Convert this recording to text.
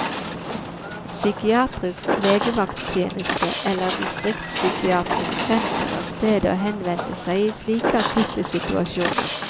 Psykiatrisk legevakttjeneste eller distriktspsykiatrisk senter er stedet å henvende seg i slike akutte situasjoner.